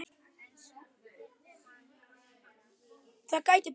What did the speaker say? Það gæti breyst.